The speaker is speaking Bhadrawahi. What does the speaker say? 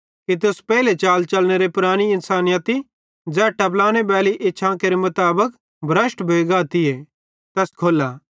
कि तुस पेइले चाल चलनेरे पुरानी इन्सानयती ज़ै टपलाने बैली इच्छां केरे मुताबिक भ्रष्ट भोइ गातीए खोल्ला